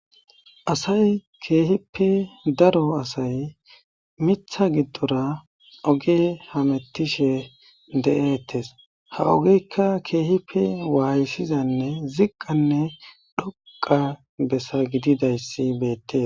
asay keehippe daro asay mitha giddora oge hamettishe de7eettes ha ogeykka keehippe waayssizanne ziqqanne dhoqa bessa gididayssi beette